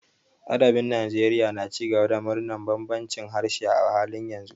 Adabin Najeriya na ci gaba da murnar bambancin harshe a halin yanzu.